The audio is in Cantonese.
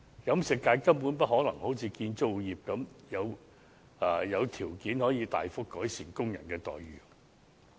飲食業根本不可能好像建造業般有條件大幅改善工人的待遇。